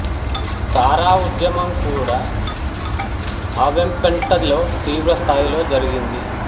సారా ఉద్యమం కూడాఅ వేంపెంట లో తీవ్ర స్థాయిలో జరిగింది